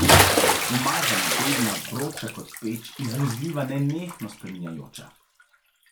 Umazana, bedna, vroča, kot peč, izmuzljiva, nenehno spreminjajoča.